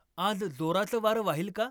आज जोराचं वारं वाहील का?